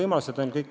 Kalle Palling.